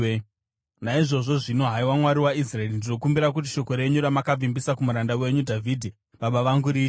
Naizvozvo zvino, haiwa Mwari waIsraeri, ndinokumbira kuti shoko renyu ramakavimbisa kumuranda wenyu Dhavhidhi baba vangu riitike.